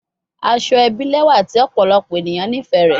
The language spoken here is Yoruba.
Asoebi lẹwa ti ọpọlọpọ eniyan nifẹ rẹ